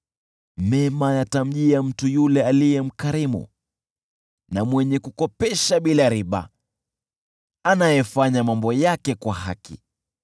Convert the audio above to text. Mema yatamjia mtu yule aliye mkarimu na mwenye kukopesha bila riba, anayefanya mambo yake kwa haki.